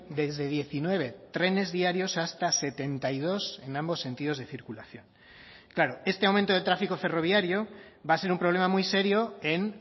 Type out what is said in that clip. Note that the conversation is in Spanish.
desde diecinueve trenes diarios hasta setenta y dos en ambos sentidos de circulación claro este aumento de tráfico ferroviario va a ser un problema muy serio en